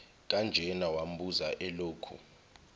kanjena wambuza elokhu